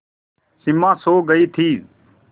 सिमा सो गई थी